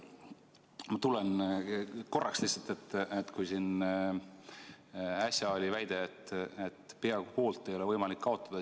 Ma ütlen korraks lihtsalt, et siin äsja kõlas väide, et peaaegu poolt ei ole võimalik kaotada.